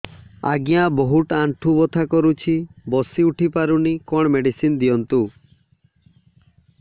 ଆଜ୍ଞା ବହୁତ ଆଣ୍ଠୁ ବଥା କରୁଛି ବସି ଉଠି ପାରୁନି କଣ ମେଡ଼ିସିନ ଦିଅନ୍ତୁ